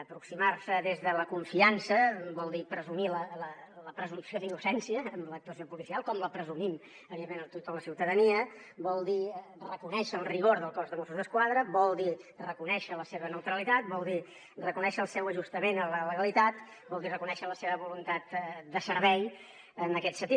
aproximar s’hi des de la confiança vol dir presumir la presumpció d’innocència en l’actuació policial com la presumim evidentment a tota la ciutadania vol dir reconèixer el rigor del cos de mossos d’esquadra vol dir reconèixer la seva neutralitat vol dir reconèixer el seu ajustament a la legalitat vol dir reconèixer la seva voluntat de servei en aquest sentit